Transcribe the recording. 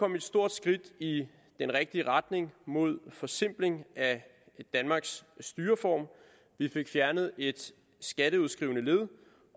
et stort skridt i den rigtige retning mod en forsimpling af danmarks styreform vi fik fjernet et skatteudskrivende led